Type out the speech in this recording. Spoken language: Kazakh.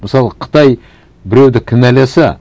мысалы қытай біреуді кінәласа